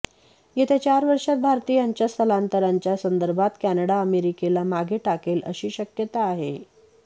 येत्या चार वर्षात भारतीयांच्या स्थलांतराच्या संदर्भात कॅनडा अमेरिकेला मागे टाकेल अशी शक्यता आहे